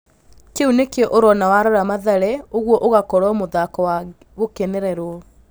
Kĩu nĩkĩo ũrona warora Mathare ũguo ũgakorwo mũthako wa gũkenererwo".